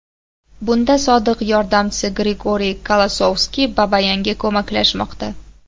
Bunda sodiq yordamchisi Grigoriy Kolosovskiy Babayanga ko‘maklashmoqda.